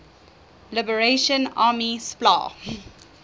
liberation army spla